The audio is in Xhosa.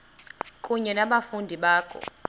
kunye nabafundi bakho